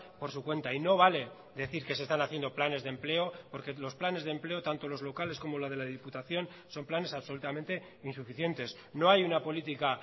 por su cuenta y no vale decir que se están haciendo planes de empleo porque los planes de empleo tanto los locales como la de la diputación son planes absolutamente insuficientes no hay una política